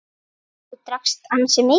Þú drakkst ansi mikið.